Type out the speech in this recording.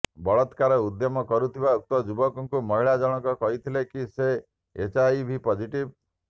ବଳାତ୍କାର ଉଦ୍ୟମ କରୁଥିବା ଉକ୍ତ ଯୁବକଙ୍କୁ ମହିଳା ଜଣଙ୍କ କହିଥିଲେ କି ସେ ଏଚ୍ଆଇଭି ପଜିଟିଭ୍